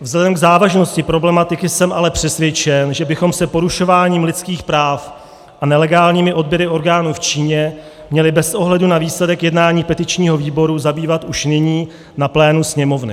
Vzhledem k závažnosti problematiky jsem ale přesvědčen, že bychom se porušováním lidských práv a nelegálními odběry orgánů v Číně měli bez ohledu na výsledek jednání petičního výboru zabývat už nyní na plénu Sněmovny.